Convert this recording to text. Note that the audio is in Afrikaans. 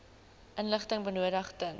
inligting benodig ten